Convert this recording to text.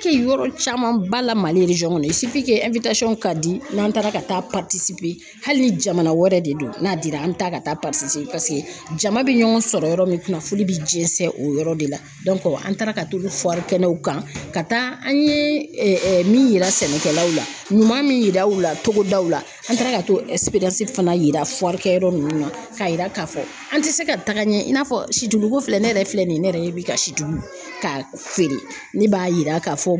Kɛ yɔrɔ caman ba la Mali kɔnɔ ka di n'an taara ka taa hali ni jamana wɛrɛ de don n'a dira an mi taa ka taa paseke jama bi ɲɔgɔn sɔrɔ yɔrɔ min kunnafoni bi jɛnsɛn o yɔrɔ de la an taara ka t'u kɛnɛw kan ka taa an ye min yira sɛnɛkɛlaw la ɲuman min yira u la togodaw la an taara ka t'o fana yira yɔrɔ nunnu na k'a yira k'a fɔ an tɛ se ka taga ɲɛ in'a fɔ situlu ko filɛ ne yɛrɛ filɛ nin ye ne yɛrɛ bi ka sidugu ka feere ne b'a yira k'a fɔ